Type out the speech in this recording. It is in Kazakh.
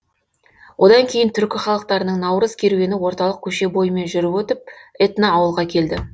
одан кейін түркі халықтарының наурыз керуені орталық көше бойымен жүріп өтіп этноауылға келді